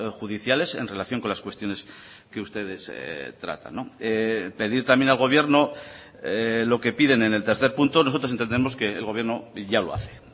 judiciales en relación con las cuestiones que ustedes tratan pedir también al gobierno lo que piden en el tercer punto nosotros entendemos que el gobierno ya lo hace